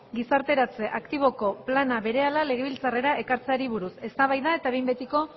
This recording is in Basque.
gizarteratze aktiboko plana berehala legebiltzarrera ekartzeari buruz eztabaida eta behin betiko